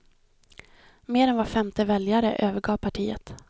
Mer än var femte väljare övergav partiet.